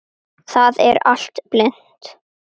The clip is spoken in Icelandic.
Það er allt blint.